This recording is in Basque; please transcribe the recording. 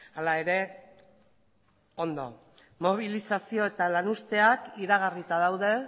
hala ere ondo mobilizazio eta lanuzteak iragarrita daude